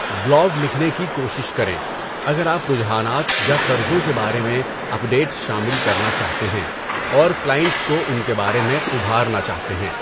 Blog لکھنے کی کوشش کریں اگر آپ رجحانات یا طرزوں کے بارے میں اپڈیٹس شامل کرنا چاہتے ہیں اور کلائنٹس کو ان کے بارے میں ابھارنا چاہتے ہیں۔